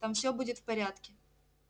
там всё будет в порядке